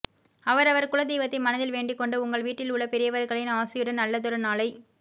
அவரவர் குலதெய்வத்தை மனதில் வேண்டிக்கொண்டு உங்கள் வீட்டில் உள்ள பெரியவர்களின் ஆசியுடன் நல்லதொரு நாளைக்